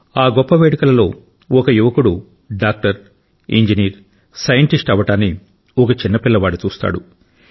ఆ గొప్ప వేడుకలో ఒక యువకుడు డాక్టర్ ఇంజనీర్ సైంటిస్ట్ అవ్వడాన్ని ఒక చిన్న పిల్లవాడు చూస్తాడు